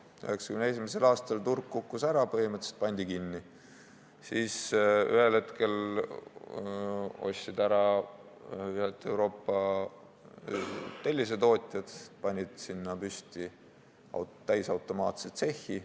1991. aastal kukkus turg ära, põhimõtteliselt pandi tehas kinni, siis ühel hetkel ostsid selle ära Euroopa tellisetootjad, panid sinna püsti täisautomaatse tsehhi.